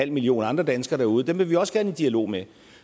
millioner andre danskere derude og dem vil vi også gerne i dialog med